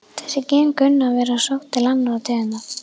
Þessi gen kunna að vera sótt til annarra tegunda.